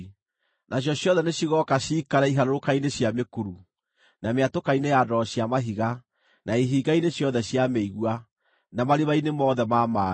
Nacio ciothe nĩcigooka ciikare iharũrũka-inĩ cia mĩkuru, na mĩatũka-inĩ ya ndwaro cia mahiga, na ihinga-inĩ ciothe cia mĩigua, na marima-inĩ mothe ma maaĩ.